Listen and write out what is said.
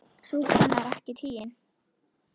Sú kona er ekki tigin.